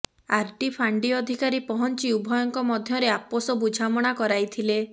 ଆରଡି ଫାଣ୍ଡି ଅଧିକାରୀ ପହଞ୍ଚି ଉଭୟଙ୍କ ମଧ୍ୟରେ ଆପୋସ ବୁଝାମଣା କରାଇଥିଲେ